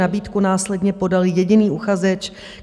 Nabídku následně podal jediný uchazeč.